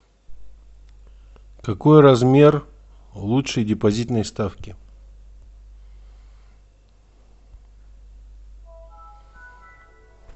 какой размер лучшей депозитной ставки